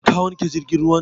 Ka wanke jirgin ruwan?